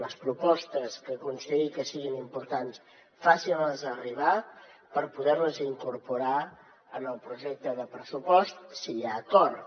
les propostes que consideri que siguin importants facin les arribar per poder les incorporar en el projecte de pressupost si hi ha acord